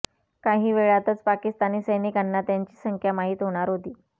काही वेळातच पाकिस्तानी सैनिकांना त्यांची संख्या माहीत होणार होती